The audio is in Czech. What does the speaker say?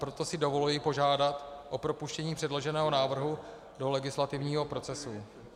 Proto si dovoluji požádat o propuštění předloženého návrhu do legislativního procesu.